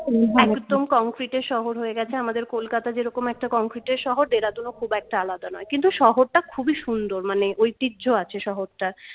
একদম concrete এর শহর হয়ে গেছে আমাদের kolkata যেরকম একটা concrete এর শহর Dehradun ও খুব একটা আলাদা নয় কিন্তু শহরটা খুবই সুন্দর মানে ঐতিহ্য আছে শহরটার